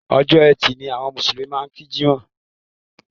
Ọjọ́ ẹtì ni àwọn Mùsùlùmí máa ń kí Jímọ̀